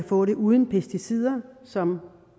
få det uden pesticider som